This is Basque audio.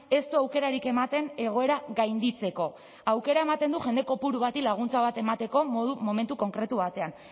ez du aukerarik ematen egoera gainditzeko aukera ematen du jende kopuru bati laguntza bat emateko momentu konkretu batean